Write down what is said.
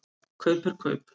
Kaup er kaup.